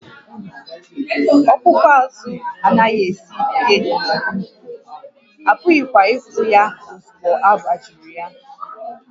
Ọkpụkpụ azụ anaghị esi ike nke ukwuu, a pụghịkwa ịgwọ ya ozugbo agbajiri ya